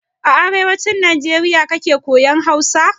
A arewacin Najeriya kika koya Hausa?